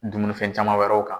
Dumunifɛn caman wɛrɛw kan